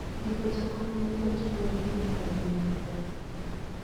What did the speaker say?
Ndiko jakony mar joot luwore gi nyalogi mar pesa.